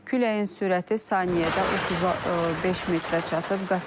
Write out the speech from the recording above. Küləyin sürəti saniyədə 35 metrə çatıb.